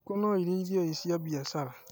Ngũkũ no irĩithio i cia mbiacara.